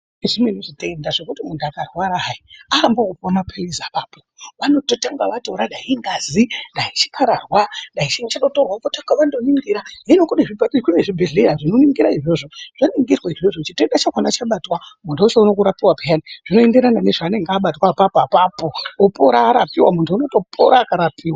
Zvimweni zvitenda zvekuti muntu akarwara hai, aambi ekupuwa mapilizi apapo. Vanototanga vatora dai ingazi, dai chikararwa dai chiini chatorwa votanga vandoningira. Hino kune zvibhedhleya zvinoningura izvozvo, zvaningirwa izvozvo chitenda chacho chabatwa muntu ochiona kurapiwa pheyani. Zvino enderana nezvaanenge abatwa apapo-apapo, opora arapiwa, muntu unotopora akarapiwa.